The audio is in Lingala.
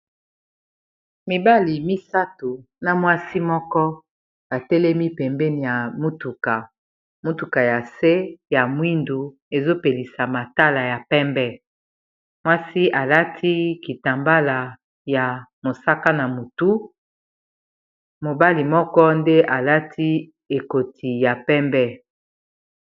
Mibali misato na mwasi moko batelemi pembeni ya motuka motuka ya se ya mwindu ezopelisa matala ya pembe mwasi alati kitambala ya mosaka na motu mobali moko nde alati ekoti ya pembe